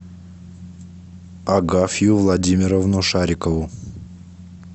агафью владимировну шарикову